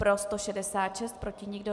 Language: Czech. Pro 166, proti nikdo.